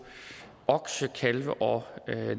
okse kalve og